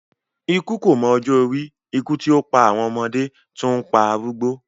Ikú kò mọ ọjọ́ orí, ikú tí ó pa àwọn ọmọdé, tún ń pa arúgbó.